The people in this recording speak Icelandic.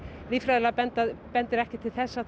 líffræðilega bendir bendir ekkert til þess að